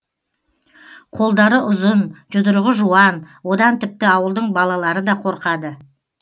қолдары ұзын жұдырығы жуан одан тіпті ауылдың балалары да қорқады